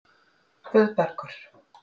Guðbergur